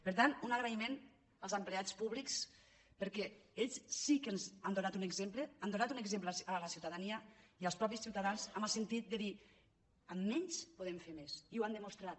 per tant un agraïment als empleats públics perquè ells sí que ens han donat un exemple han donat un exemple a la ciutadania i als mateixos ciutadans en el sentit de dir amb menys podem fer més i ho han de·mostrat